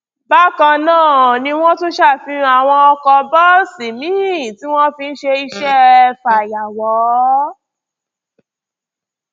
bákan náà ni wọn tún ṣàfihàn àwọn ọkọ bọọsì miín tí wọn fi ń ṣe iṣẹ fàyàwọ